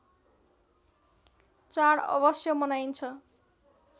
चाड अवश्य मनाइन्छ